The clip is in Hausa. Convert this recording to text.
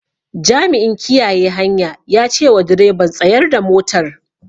Jami'in kiyaye hanya ya cewa direban "Tsayar da motar"